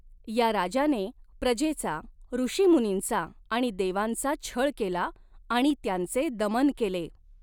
या राजाने प्रजेचा, ऋषीमुनींचा आणि देवांचा छळ केला आणि त्यांचे दमन केले.